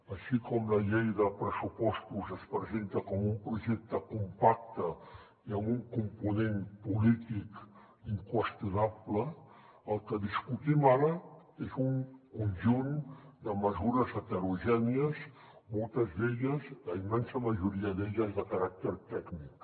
així com la llei de pressupostos es presenta com un projecte compacte i amb un component polític inqüestionable el que discutim ara és un conjunt de mesures heterogènies moltes d’elles la immensa majoria d’elles de caràcter tècnic